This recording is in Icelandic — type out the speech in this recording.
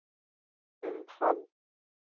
um hann.